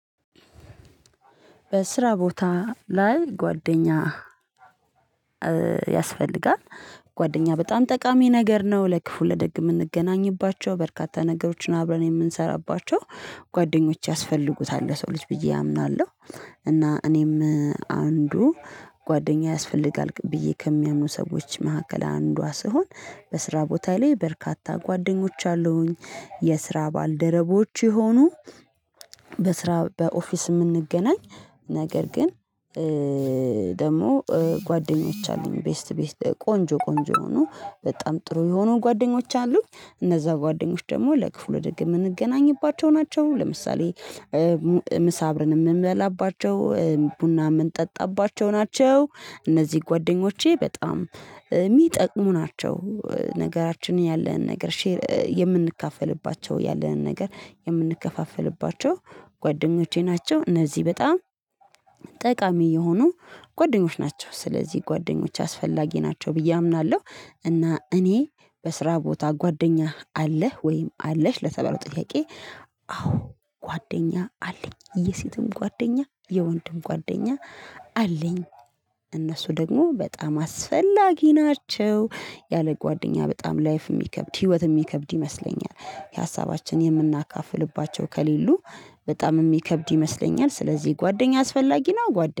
በስራ ቦታ ላይ ጓደኛ ያስፈልጋል። ጓደኛ በጣም ጠቃሚ ነገር ነው ለክፉ ለደግም የምንገናኝባቸው በርካታ ነገሮችን አብረን የምንሰራባቸው ጓደኞች ያስፈልጉታል ለሰው ልጅ ብዬ አምናለሁ። እና እኔም አንዱ ጓደኛ ያስፈልጋል ብዬ ከሚያምኑ ሰዎች መካከል አንዷ ስሆን በስራ ቦታ ላይ በርካታ ጓደኞች አሉኝ። የስራ ባልደረቦች የሆኑ በስራ በኦፊስ የምንገናኝ ነገር ግን ደግሞ ጓደኞች አሉኝ ቤስት ቤስት ቆንጆ ቆንጆ ሆኖ በጣም ጥሩ የሆኑ ጓደኞች አሉኝ። እነዛ ጓደኞች ደግሞ ለክፉ ለደግ የምንገናኝባቸው ናቸው። ለምሳሌ ምሳ አብረን የምንበላባቸው ቡና የምንጠጣባቸው ናቸው። እነዚህ ጓደኞቼ በጣም የሚጠቅሙ ናቸው። ነገራችን ያለን ነገር ሼር የምንካፈልባቸው ያለንን ነገር የምንከፋፈልባቸው ጓደኞቼ ናቸው እነዚህ በጣም ጠቃሚ የሆኑ ጓደኞች ናቸው። ስለዚህ ጓደኞች አስፈላጊ ናቸው ብዬ አምናለሁ። እና እኔ በስራ ቦታ ጓደኛህ አለህ ወይም አለሽ ለተባለው ጥያቄ? ጓደኛ አለኝ የሴትም ጓደኛ የወንድም ጓደኛ አለኝ። እነሱ ደግሞ በጣም አስፈላጊ ናቸው ያለ ጓደኛ በጣም ላይፍ የሚከብድ ህይወት የሚከብድ ይመስለኛል። የሀሳባችን የምናካፍልባቸው ከሌሉ በጣም የሚከብድ ይመስለኛል። ስለዚህ ጓደኛ አስፈላጊ ነው። ጓደ